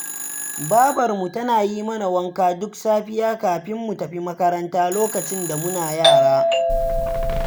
Babarmu tana yi mana wanka duk safiya, kafin mu tafi makaranta, lokacin da muna yara